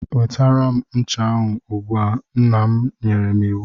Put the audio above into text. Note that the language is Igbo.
Nwetara m ncha ahụ ugbu a! Nna m nyere iwu.